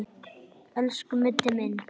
Elsku Mundi minn.